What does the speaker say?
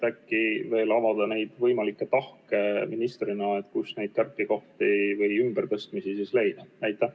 Äkki saad ministrina veel avada neid võimalikke tahke, kust neid kärpekohti või ümbertõstmisi leida?